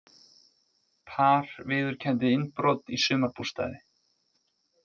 Par viðurkenndi innbrot í sumarbústaði